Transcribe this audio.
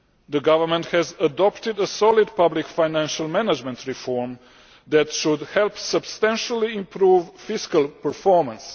The government has adopted a solid public financial management reform that should help substantially improve fiscal performance.